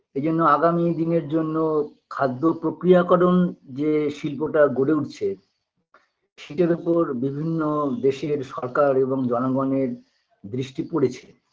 এইজন্য আগামী দিনের জন্য খাদ্য প্রক্রিয়াকরণ যে শিল্পটা গড়ে উঠছে সেটার ওপর বিভিন্ন দেশের সরকার এবং জনগণের দৃষ্টি পড়েছে